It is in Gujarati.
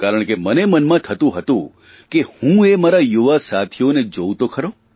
કારણ કે મને મનમાં થતું હતું કે હું એ મારા યુવા સાથીઓને જોઉં તો ખરો